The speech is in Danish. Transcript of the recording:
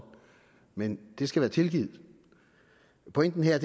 men det skal være tilgivet pointen her